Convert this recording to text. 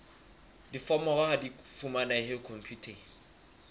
diforomo ha di fumanehe khomputeng